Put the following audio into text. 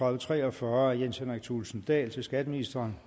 og tre og fyrre af jens henrik thulesen dahl til skatteministeren